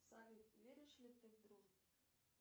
салют веришь ли ты в дружбу